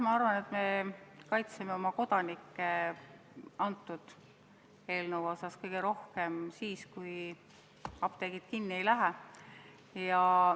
Ma arvan, et me kaitseme oma kodanikke selle eelnõuga kõige rohkem tänu sellele, et apteegid ei lähe kinni.